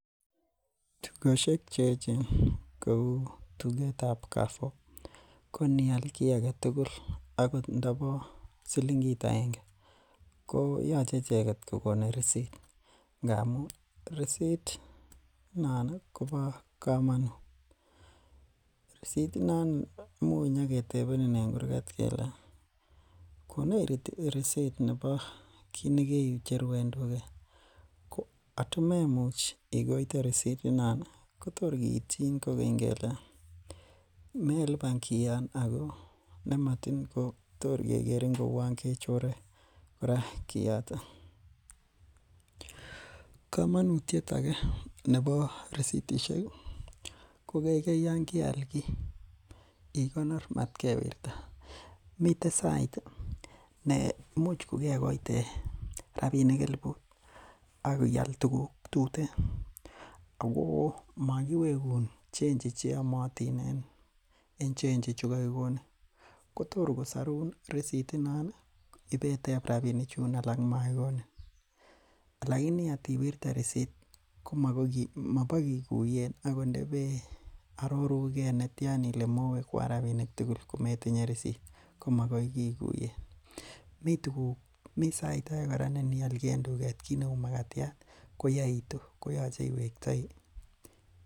Tugoshek cheechen kouu tugetab kaafo ko inial ki aget6agot ingo bo silingit aenge koyache icheket kokoni receipt ngamun receipt ih non koba kamanut. Risit inon koimuch keyaketebenin en kurgat kele konech rirsit nebo kit negecheru en tuget. Ko atimemuch ikoite risit inon ih ko tor kiityin kele meluban kion Ako nematin kotorgehere kouu kechore kora kioton. Kamanut age nebo resitisiek ih , ko Yoon keal ki igonor mat kewirta miten sait ih ne imuch kokekoite rabinik elibut akial tuguk tuten ago magiwegun chenchi cheyamatin en chechi chegagigoni. Kotor kosaruun resit inon ibeteb rabinik chuun alak makikonin alaini atiwirte koma bagiguyen agot indebee aroruge netian Ile mowekian rabinik tugul kometinye resit komagoi kikuyen misait age neinial ki en tuget ih kit neuu makatiat koyaitu koyache iwektai itinye risit.